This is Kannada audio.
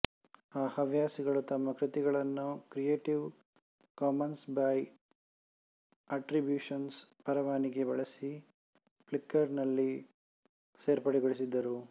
ಆ ಹವ್ಯಾಸಿಗಳು ತಮ್ಮ ಕೃತಿಗಳನ್ನು ಕ್ರಿಯೇಟಿವ್ ಕಾಮನ್ಸ್ ಬೈ ಅಟ್ರಿಬ್ಯೂಷನ್ ಪರವಾನಗಿ ಬಳಸಿ ಫ್ಲಿಕರ್ ನಲ್ಲಿ ಸೇರ್ಪಡೆಗೊಳಿಸಿದ್ದರು